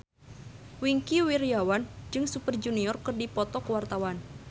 Wingky Wiryawan jeung Super Junior keur dipoto ku wartawan